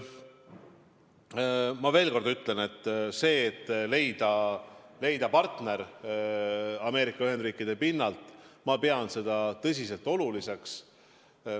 Ma veel kord ütlen, et pean seda, et leida Ameerika Ühendriikide pinnalt partner, tõsiselt oluliseks.